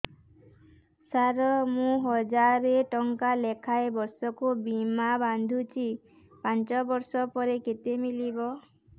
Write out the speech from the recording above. ସାର ମୁଁ ହଜାରେ ଟଂକା ଲେଖାଏଁ ବର୍ଷକୁ ବୀମା ବାଂଧୁଛି ପାଞ୍ଚ ବର୍ଷ ପରେ କେତେ ମିଳିବ